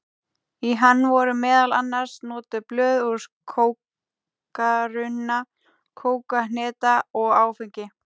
Í hann voru meðal annars notuð blöð úr kókarunna, kólahneta og áfengi.